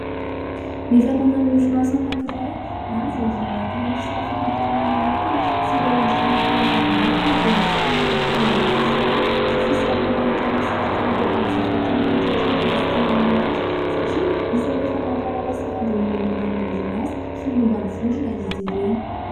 Ny fananan'ny orinasa anankiray na ny vondrona anankiray ny sary famantarana manokana sy ireo endrika hamantarana azy manokana dia isany efa dokam-barotra sahady sy fisarihana entina misarika ireo mpanjifa tiana hotratrarina sy tiana ho azo ; satria isany efa mampahalala sahady ny mombamomba ny orinasa sy momba ny vondrona izy ireny.